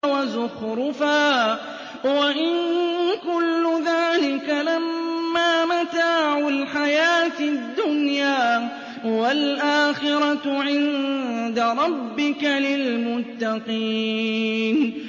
وَزُخْرُفًا ۚ وَإِن كُلُّ ذَٰلِكَ لَمَّا مَتَاعُ الْحَيَاةِ الدُّنْيَا ۚ وَالْآخِرَةُ عِندَ رَبِّكَ لِلْمُتَّقِينَ